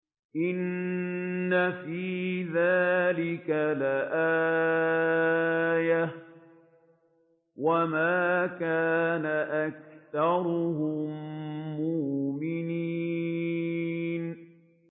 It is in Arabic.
إِنَّ فِي ذَٰلِكَ لَآيَةً ۖ وَمَا كَانَ أَكْثَرُهُم مُّؤْمِنِينَ